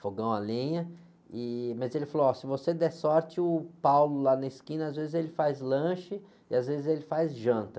fogão a lenha, e, mas ele falou, se você der sorte, o lá na esquina, às vezes ele faz lanche e às vezes ele faz janta.